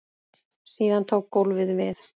Síðan tók golfið við.